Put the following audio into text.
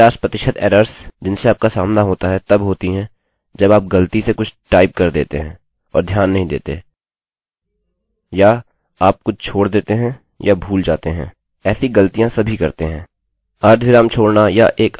मैं कहना चाहूँगा कि 50% एरर्स जिनसे आपका सामना होता है तब होती हैं जब आप ग़लती से कुछ टाइप कर देते है और ध्यान नहीं देते या आप कुछ छोड़ देते हैं या भूल जाते हैं